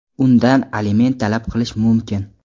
undan aliment talab qilish mumkin.